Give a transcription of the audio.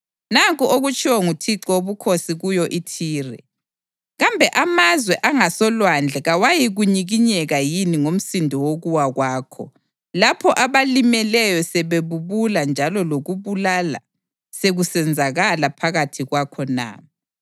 Nanku okutshiwo nguThixo Wobukhosi kuyo iThire: Kambe amazwe angasolwandle kawayikunyikinyeka yini ngomsindo wokuwa kwakho, lapho abalimeleyo sebebubula njalo lokubulala sekusenzakala phakathi kwakho na?